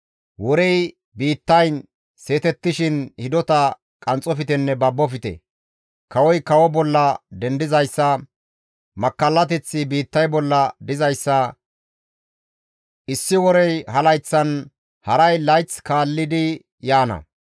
Worey biittayn seetettishin hidota qanxxoftenne babofte; kawoy kawo bolla dendizayssa, makkallateththi biittay bolla dizayssa issi worey ha layththan, haray layth kaallidi yaana.